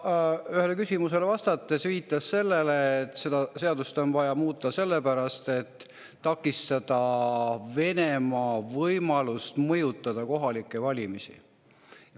Ta ühele küsimusele vastates viitas sellele, et seda seadust on vaja muuta sellepärast, et takistada Venemaal mõjutada kohalikke valimisi.